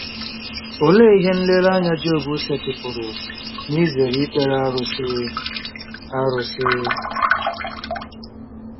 Olee ihe nlereanya Job setịpụrụ n'izere ikpere arụsị? arụsị?